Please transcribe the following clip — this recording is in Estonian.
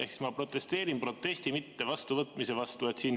Ehk siis ma protesteerin protesti mitte vastuvõtmise vastu.